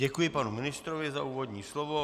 Děkuji panu ministrovi za úvodní slovo.